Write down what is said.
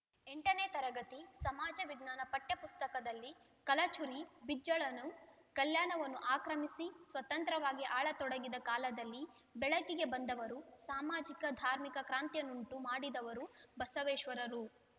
ಎಂಟ ನೇ ತರಗತಿ ಸಮಾಜ ವಿಜ್ಞಾನ ಪಠ್ಯ ಪುಸ್ತಕದಲ್ಲಿ ಕಲಚುರಿ ಬಿಜ್ಜಳನು ಕಲ್ಯಾಣವನ್ನು ಆಕ್ರಮಿಸಿ ಸ್ವತಂತ್ರವಾಗಿ ಆಳತೊಡಗಿದ ಕಾಲದಲ್ಲಿ ಬೆಳಕಿಗೆ ಬಂದವರು ಸಾಮಾಜಿಕ ಧಾರ್ಮಿಕ ಕ್ರಾಂತಿಯನ್ನುಂಟು ಮಾಡಿದವರು ಬಸವೇಶ್ವರರು